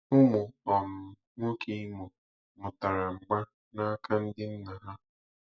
Ụmụ um nwoke Imo mụtara mgba n'aka ndị nna ha.